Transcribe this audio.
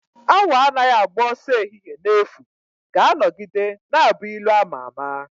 "Awọ anaghị agba ọsọ n'ehihie n'efu" ga-anọgide na-abụ ilu ama ama